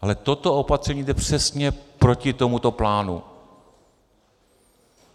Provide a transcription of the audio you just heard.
Ale toto opatření jde přesně proti tomuto plánu.